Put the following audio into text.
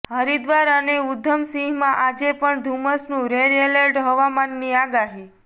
હરિદ્વાર અને ઉધમસિંહમાં આજે પણ ધુમ્મસનું રેડ એલર્ટઃ હવામાનની આગાહી